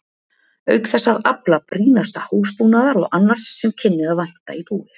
Auk þess að afla brýnasta húsbúnaðar og annars sem kynni að vanta í búið.